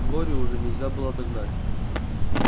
глорию уже нельзя было догнать